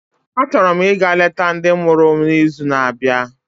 Achọrọ m ịga leta ndị mụrụ m n'izu na-abịa